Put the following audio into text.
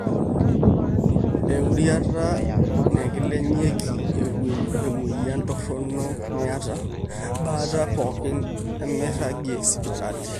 eurriata nekilikinyieki emwueyian torrono niata, baata pooki nemiirag sipitali